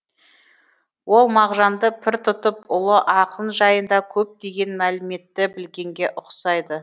ол мағжанды пір тұтып ұлы ақын жайында көптеген мәліметті білгенге ұқсайды